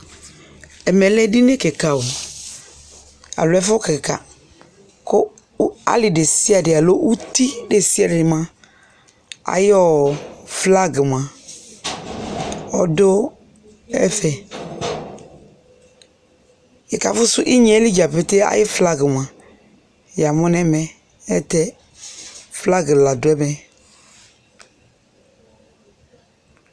Ɛmɛ lɛ edini kika o aloo ɛfʋ kika kʋ ali desiade aloo uti desiade moa ayʋ flagi moa ɔdʋ ɛfɛ Ɛkafʋsʋ inyeɛli dzapetee ayʋ flagi moa yamʋ nɛ mɛ ayɛlʋtɛ flagi la dʋ ɛmɛ